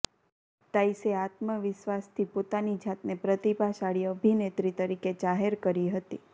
તાઇસે આત્મવિશ્વાસથી પોતાની જાતને પ્રતિભાશાળી અભિનેત્રી તરીકે જાહેર કરી હતી